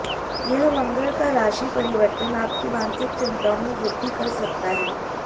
यह मंगल का राशि परिवर्तन आपकी मानसिक चिंताओं में वृद्धि कर सकता है